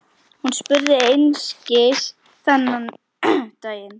Hún spurði einskis þennan daginn.